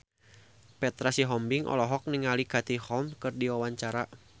Petra Sihombing olohok ningali Katie Holmes keur diwawancara